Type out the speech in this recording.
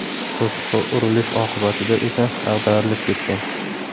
To‘siqqa urilish oqibatida esa ag‘darilib ketgan.